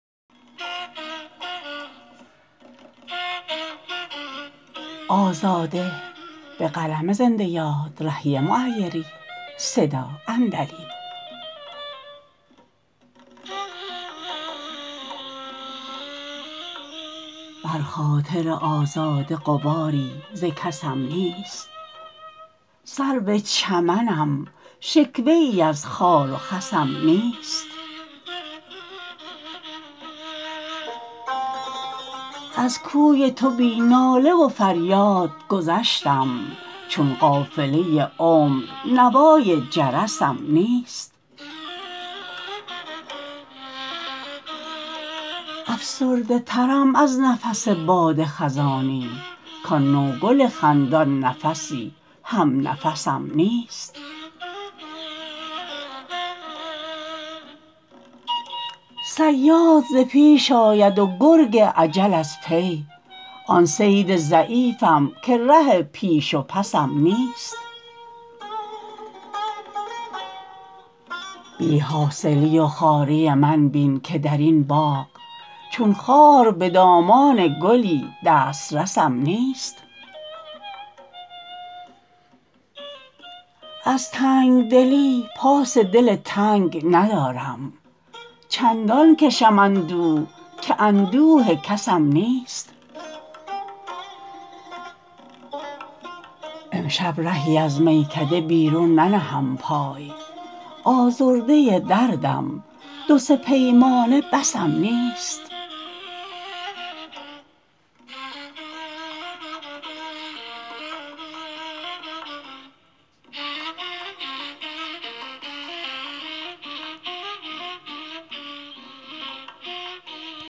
بر خاطر آزاده غباری ز کسم نیست سرو چمنم شکوه ای از خار و خسم نیست از کوی تو بی ناله و فریاد گذشتم چون قافله عمر نوای جرسم نیست افسرده ترم از نفس باد خزانی کآن نوگل خندان نفسی هم نفسم نیست صیاد ز پیش آید و گرگ اجل از پی آن صید ضعیفم که ره پیش و پسم نیست بی حاصلی و خواری من بین که در این باغ چون خار به دامان گلی دسترسم نیست از تنگدلی پاس دل تنگ ندارم چندان کشم اندوه که اندوه کسم نیست امشب رهی از میکده بیرون ننهم پای آزرده دردم دو سه پیمانه بسم نیست